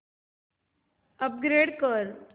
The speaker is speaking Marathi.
अपग्रेड कर